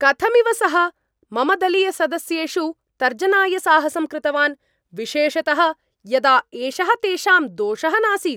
कथमिव सः मम दलीयसदस्येषु तर्जनाय साहसं कृतवान् विशेषतः यदा एषः तेषां दोषः नासीत् !